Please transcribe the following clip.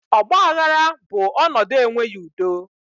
Ọgbaghara bụ ọnọdụ enweghị udo